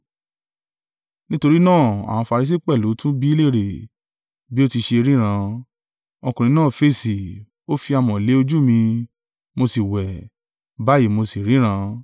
Nítorí náà àwọn Farisi pẹ̀lú tún bi í léèrè, bí ó ti ṣe ríran. Ọkùnrin náà fèsì, “Ó fi amọ̀ lé ojú mi, mo sì wẹ̀, báyìí mo sì ríran.”